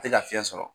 Tɛ ka fiɲɛ sɔrɔ